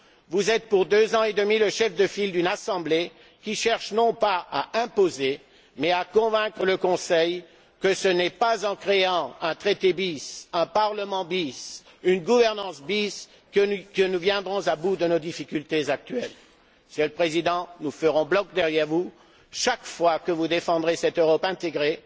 Vous êtes pour deux ans et demi le chef de file d'une Assemblée qui cherche non pas à imposer au Conseil l'idée que ce n'est pas en créant un traité bis, un Parlement bis, une gouvernance bis, que nous viendrons à bout de nos difficultés actuelles, mais à l'en convaincre Monsieur le Président, nous ferons bloc derrière vous chaque fois que vous défendrez cette Europe intégrée,